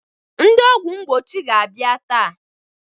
Ndị ọgwụ mgbochi ga-abịa taa.